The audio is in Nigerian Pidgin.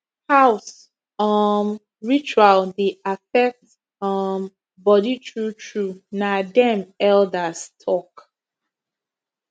house um ritual dey affect um body true true na dem elders talk